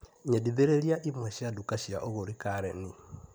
Nyendithĩrĩria imwe cia nduka cia ũgũri Kareni.